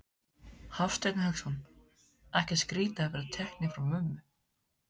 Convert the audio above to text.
Hafsteinn Hauksson: Ekkert skrítið að vera teknir frá mömmu?